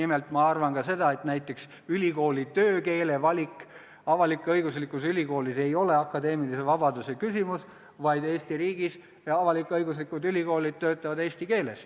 Nimelt arvan ma seda, et näiteks töökeele valik avalik-õiguslikus ülikoolis ei ole akadeemilise vabaduse küsimus, sest Eesti riigis töötavad avalik-õiguslikud ülikoolid eesti keeles.